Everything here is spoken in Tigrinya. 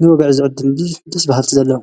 ንበብዕ ዝዕት ድን ዲ ደስ በሃልቲ ዘለዉ።